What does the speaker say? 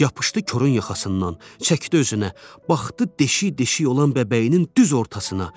Yapışdı Korun yaxasından, çəkdi özünə, baxdı deşik-deşik olan bəbəyinin düz ortasına.